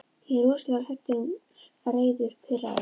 Ég er rosalega hræddur, reiður, pirraður.